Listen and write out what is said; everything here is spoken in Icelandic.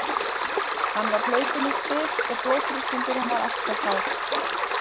Hann var hlaupinn í spik og blóðþrýstingurinn var allt of hár.